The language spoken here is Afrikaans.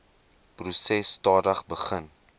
proses stadig begin